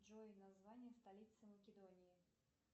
джой название столицы македонии